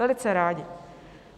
Velice rádi.